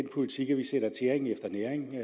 politik at vi sætter tæring efter næring vil